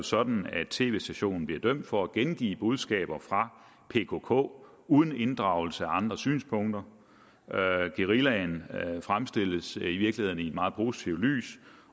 sådan at tv stationen bliver dømt for at gengive budskaber fra pkk uden inddragelse af andre synspunkter guerillaen fremstilles i virkeligheden i et meget positivt lys